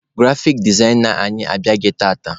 Grafik dezaina anyị abịaghị tata.